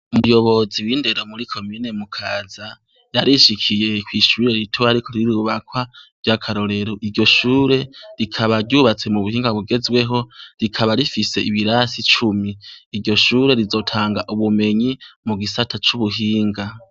Umuyobozi windero muri commune mukaza yarishikiye kwishure ritoya ririko rirubakwa ryakarorero iryoshure rikaba ryubatswe nubuhinga bugezweho rikaba rifise ibirasi cumi iryoshure rizotanga ubumenye mugisata cubuhinga